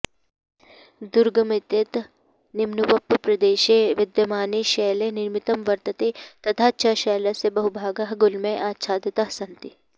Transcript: दुर्गमेतेत् निम्नवप्रप्रदेशे विद्यमाने शैले निर्मितं वर्तते तथा च शैलस्य बहुभागाः गुल्मैः आच्छादिताः सन्ति